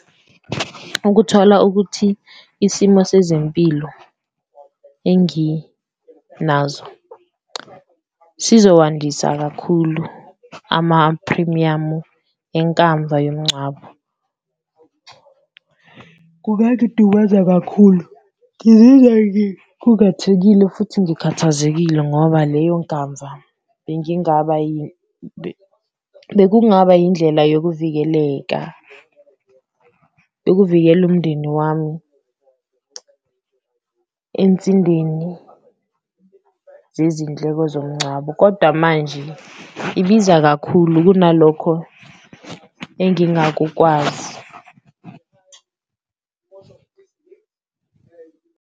Ukuthola ukuthi isimo sezempilo enginazo sizowandisa kakhulu amaphrimiyamu enkamva yomngcwabo kungangidumaza kakhulu, ngizizwa ngikhungathekile futhi ngikhathazekile ngoba leyo nkamva bengingaba bekungaba yindlela yokuvikeleka. Yokuvikela umndeni wami ensindeni zezindleko zomngcwabo kodwa manje ibiza kakhulu kunalokho engingakukwazi .